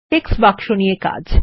text বাক্স নিয়ে কাজ